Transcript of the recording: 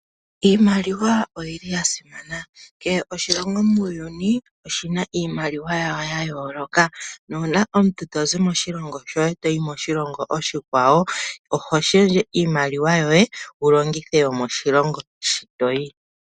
Iimaliwa oyi li ya simana, kehe oshilongo muuyuni oshi na iimaliwa yawo ya yooloka nuuna omuntu tozi moshilongo shoye toyi moshilongo oshikwawo, oho shendje iimaliwa yoye wu longithe yomoshilongo shi toyi.